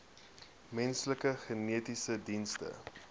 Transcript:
menslike genetiese dienste